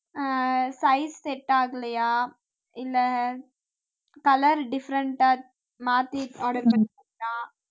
ஆஹ் size set ஆகலையா இல்லை colour different ஆ மாத்தி order பண்ணிட்டீங்களா